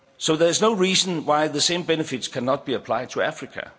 the EU. There is no reason why the same benefits cannot be applied to